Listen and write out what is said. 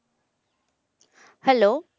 Hello